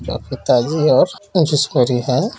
यहाँ पे ताजी और हैं।